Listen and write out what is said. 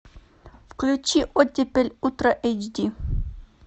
включи оттепель утро эйч ди